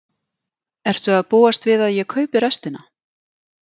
Ertu að búast við að ég kaupi restina?